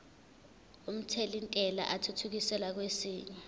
omthelintela athuthukiselwa kwesinye